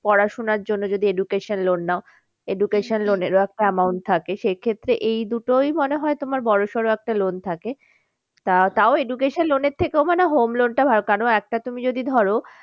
পড়াশোনার জন্য যদি education loan নাও education loan এর ও একটা amount থাকে সে ক্ষেত্রে এই দুটোই মনে হয় তোমার বড়ো সড়ো একটা loan থাকে। তা তাও education loan এর থেকেও মানে home loan টা ভালো কারণ একটা তুমি যদি ধরো